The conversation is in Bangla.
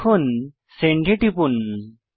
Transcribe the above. এখন সেন্ড এ টিপুন